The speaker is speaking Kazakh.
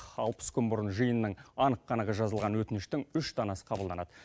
алпыс күн бұрын жиынның анық қанығы жазылған өтініштің үш данасы қабылданады